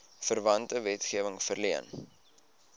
verwante wetgewing verleen